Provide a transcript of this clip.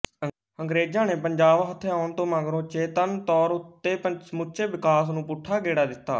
ਅੰਗਰੇਜ਼ਾਂ ਨੇ ਪੰਜਾਬ ਹਥਿਆਉਣ ਤੋਂ ਮਗਰੋਂ ਚੇਤੰਨ ਤੌਰ ਉੱਤੇ ਸਮੁੱਚੇ ਵਿਕਾਸ ਨੂੰ ਪੁੱਠਾ ਗੇੜਾ ਦਿੱਤਾ